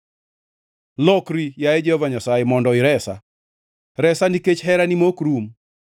Lokri, yaye Jehova Nyasaye, mondo iresa; resa nikech herani ma ok rum.